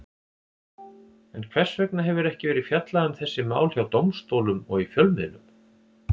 En hvers vegna hefur ekki verið fjallað um þessi mál hjá dómstólum og í fjölmiðlum?